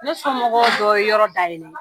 Ne sɔnmɔgɔw doɔ ye yɔrɔ dayɛlɛ